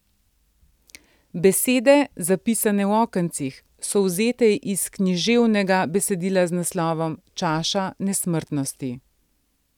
Besede, zapisane v okencih, so vzete iz književnega besedila z naslovom Čaša nesmrtnosti.